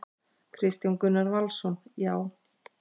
Kristján Gunnar Valsson: Já.